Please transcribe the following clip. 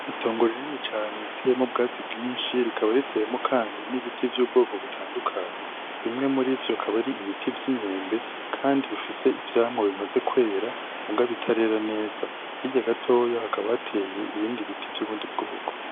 Itongo rinini cane riteyemwo ubwatsi bwinshi, rikaba riteyemwo kandi n'ibiti vy'ubwoko butandukanye. Bimwe muri ivyo bikaba ari ibiti vy'imyembe kandi bifise ivyamwa bimaze kwera muga bitarera neza. Hirya gatoya hakaba hatewe ibindi biti vy'ubundi bwoko.